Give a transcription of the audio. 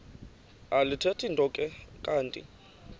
alithethi nto kanti